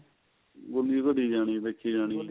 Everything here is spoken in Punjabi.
ਗੁੱਲੀ ਓ ਘੜੀ ਜਾਣੀ ਦੇਖੀ ਜਾਣੀ